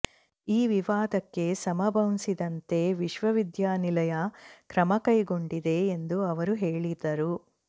ಈ ವಿವಾದಕ್ಕೆ ಸಮಬಂಸಿದಂತೆ ವಿಶ್ವವಿದ್ಯಾನಿಲಯ ಕ್ರಮಕೈಗೊಂಡಿದೆ ಎಂದು ಅವರು ಹೇಳಿದರು